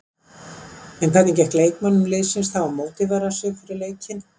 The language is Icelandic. En hvernig gekk leikmönnum liðsins þá að mótivera sig fyrir leikinn?